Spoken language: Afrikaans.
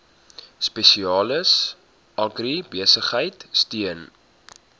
spesialis agribesigheid steun